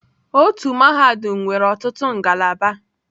Otu mahadum nwere ọtụtụ ngalaba.